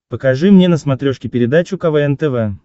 покажи мне на смотрешке передачу квн тв